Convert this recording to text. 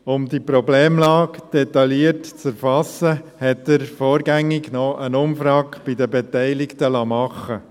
Um die Problemlage detailliert zu erfassen, liess der Vorgängige noch eine Umfrage bei den Beteiligten machen.